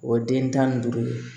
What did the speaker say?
O den tan ni duuru